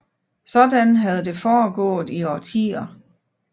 Sådan havde det foregået i årtier